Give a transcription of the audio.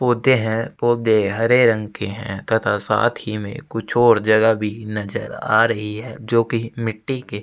पोधे है पोधे हरे रंग के है तथा साथ ही में कुछ और जगह भी नजर आ रही है जोकि मिट्टी के --